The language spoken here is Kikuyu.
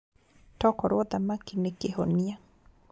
Tokorwo thamaki nĩ kĩhonia